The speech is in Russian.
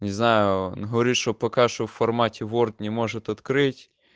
не знаю говорит что пока что в формате ворд не может открыть